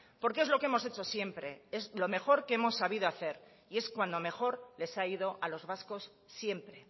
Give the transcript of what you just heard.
porque es lo que hemos hecho siempre es lo mejor que hemos sabido hacer y es cuando mejor les ha ido a los vascos siempre